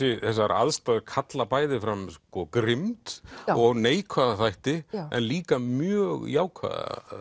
þessar aðstæður kalla bæði fram grimmd og neikvæða þætti en líka mjög jákvæða